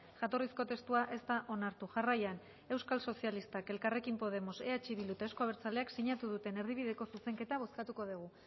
jatorrizko testua ez da onartu jarraian euskal sozialistak elkarrekin podemos eh bildu eta euzko abertzaleak sinatu duten erdibideko zuzenketa bozkatuko dugu